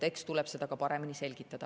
Eks tuleb seda paremini selgitada.